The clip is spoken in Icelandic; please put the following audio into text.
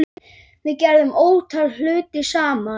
Við gerðum ótal hluti saman.